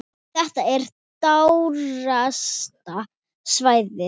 Þetta er dýrasta svæðið.